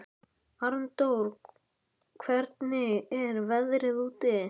Arndór, hvernig er veðrið úti?